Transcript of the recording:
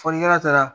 Fɔlikɛla taara